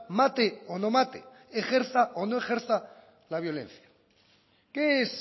mate o no mate ejerza o no ejerza la violencia qué es